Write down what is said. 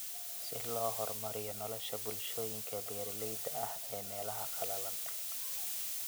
Si loo horumariyo nolosha bulshooyinka beeralayda ah ee meelaha qalalan.